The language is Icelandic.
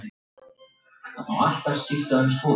Munuð þið hefna ykkar í Þýskalandi?